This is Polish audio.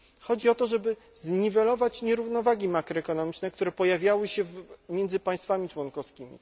Chodzi o to, żeby zniwelować nierównowagi makroekonomiczne, które pojawiały się między państwami członkowskimi.